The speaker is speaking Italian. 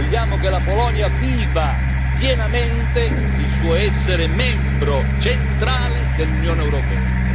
Vogliamo che la Polonia viva pienamente il suo essere membro centrale dell'Unione europea.